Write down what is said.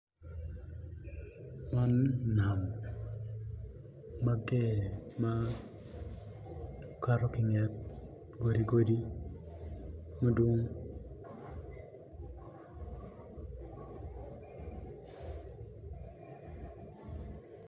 Man nam ma tye ma kato ki inget godi godi madwong